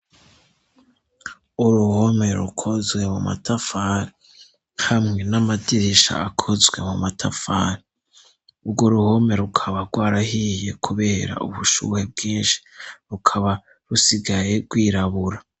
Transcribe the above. Uruhome rukozwe mu matafani hamwe n'amadirisha akozwe mu matafari ubwo uruhome rukaba rwarahiye, kubera ubushubuhe bwinshi rukaba rusigaye rwirabura.